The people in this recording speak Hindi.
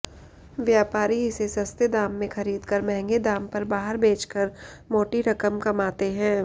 व्यापारी इसे सस्ते दाम में खरीदकर महंगे दाम पर बाहर बेचकर माेटी रकम कमाते हैं